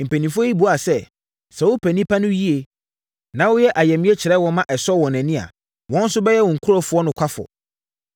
Mpanimfoɔ yi buaa sɛ, “Sɛ woyɛ nnipa no yie, na woyɛ ayamyɛ kyerɛ wɔn ma ɛsɔ wɔn ani a, wɔn nso bɛyɛ wo nkurɔfoɔ nokwafoɔ.”